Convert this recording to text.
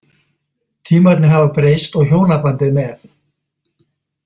Tímarnir hafa breyst og hjónabandið með.